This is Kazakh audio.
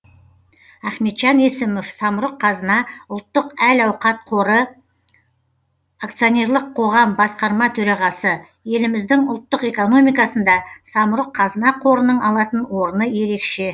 ахметжан есімов самұрық қазына ұлттық әл ауқат қоры акционерлік қоғам басқарма төрағасы еліміздің ұлттық экономикасында самұрық қазына қорының алатын орны ерекше